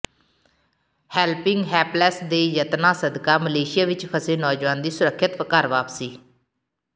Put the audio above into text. helping helpless ਦੇ ਯਤਨਾਂ ਸਦਕਾ ਮਲੇਸ਼ੀਆ ਵਿੱਚ ਫਸੇ ਨੌਜਵਾਨ ਦੀ ਸੁਰੱਖਿਅਤ ਘਰ ਵਾਪਸੀ